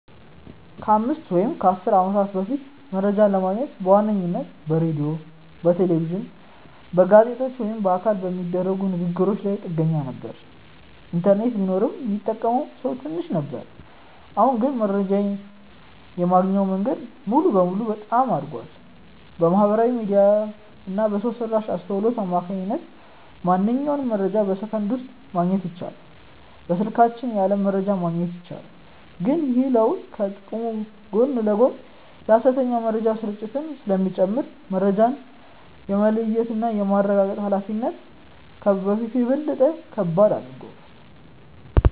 ከአምስት ወይም ከአሥር ዓመታት በፊት መረጃ ለማግኘት በዋነኝነት በሬዲዮ፣ በቴሌቪዥን፣ በጋዜጦች ወይም በአካል በሚደረጉ ንግ ግሮች ላይ ጥገኛ ነበርን። ኢንተርኔት ቢኖርም ሚጠቀመው ሰው ትንሽ ነበር። አሁን ግን መረጃ የማግኛው መንገድ ሙሉ በሙሉ በጣም አድጓል። በማህበራዊ ሚዲያ እና በሰው ሰራሽ አስውሎት አማካኝነት ማንኛውንም መረጃ በሰከንዶች ውስጥ ማግኘት ይቻላል። በስልካችን የዓለም መረጃን ማግኘት ይቻላል። ግን ይህ ለውጥ ከጥቅሙ ጎን ለጎን የሐሰተኛ መረጃዎች ስርጭትን ስለሚጨምር፣ መረጃን የመለየትና የማረጋገጥ ኃላፊነታችንን ከበፊቱ በበለጠ ከባድ አድርጎታል።